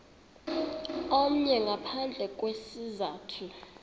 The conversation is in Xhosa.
omnye ngaphandle kwesizathu